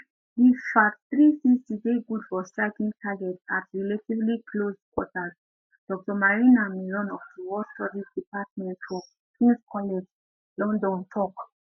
di fath360 dey good for striking targets at relatively close quarters dr marina miron of di war studies department for kings college london tok